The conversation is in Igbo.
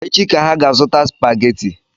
Echị ka ha ga azụta Spagati.